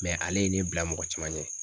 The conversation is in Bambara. ale ye ne bila mɔgɔ caman ɲɛ.